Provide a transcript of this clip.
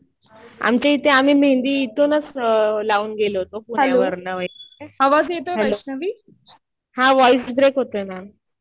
आमच्या इथे आम्ही मेहेंदी इथूनच लावून गेलो होतो पुण्यावरुन. हॅलो. हा व्हॉइस ब्रेक होतोय मॅम.